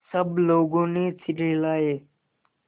सब लोगों ने सिर हिलाए